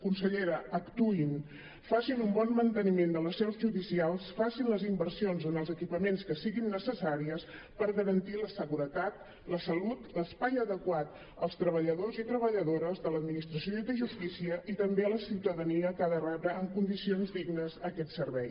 consellera actuïn facin un bon manteniment de les seus judicials facin les inversions en els equipaments que siguin necessàries per garantir la seguretat la salut l’espai adequat als treballadors i treballadores de l’administració de justícia i també a la ciutadania que ha de rebre en condicions dignes aquest servei